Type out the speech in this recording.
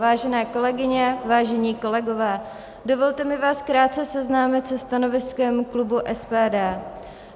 Vážené kolegyně, vážení kolegové, dovolte mi vás krátce seznámit se stanoviskem klubu SPD.